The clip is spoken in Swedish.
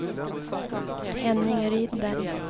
Henning Rydberg